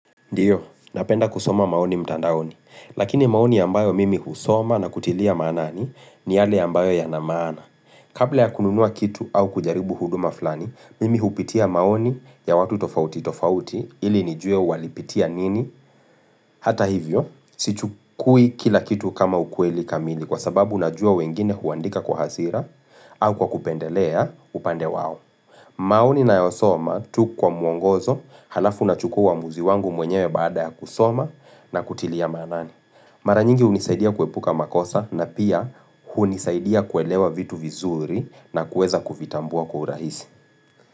Ndio, napenda kusoma maoni mtandaoni, lakini maoni yambayo mimi husoma na kutilia maanani ni yale ambayo yana maana. Kabla ya kununua kitu au kujaribu huduma flani, mimi hupitia maoni ya watu tofauti tofauti ili nijue walipitia nini? Hata hivyo, sichukui kila kitu kama ukweli kamili kwa sababu najua wengine huandika kwa hasira au kwa kupendelea upande wao. Maoni ninayosoma tu kwa mwongozo alafu nachukua uamuzi wangu mwenyewe baada ya kusoma na kutilia maanani. Mara nyingi hunisaidia kuepuka makosa na pia hunisaidia kuelewa vitu vizuri na kuweza kuvitambua kwa urahisi.